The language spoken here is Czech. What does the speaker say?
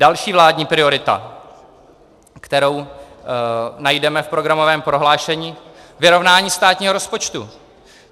Další vládní priorita, kterou najdeme v programovém prohlášení: vyrovnání státního rozpočtu.